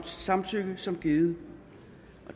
samtykke som givet